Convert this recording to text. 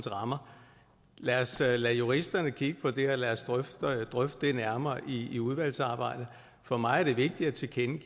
rammer lad os lade lade juristerne kigge på det og lad os drøfte det nærmere i i udvalgsarbejdet for mig er det vigtigt